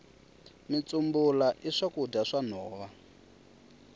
mitsumbula i swakudya swa nhova